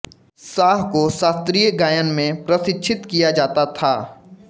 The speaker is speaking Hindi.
शाह को शास्त्रीय गायन में प्रशिक्षित किया जाता था